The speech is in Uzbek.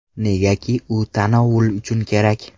Negaki u tanovul uchun kerak.